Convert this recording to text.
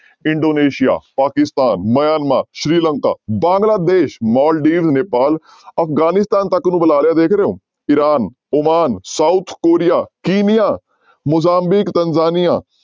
Indonesia, Pakistan, Myanmar, Sri Lanka, Bangladesh, Maldives, Nepal Afghanistan ਤੱਕ ਨੂੰ ਬੁਲਾ ਲਿਆ ਦੇਖ ਰਹੇ ਹੋ Iran, Oman, south Korea, Kenya, Mozambique, Tanzania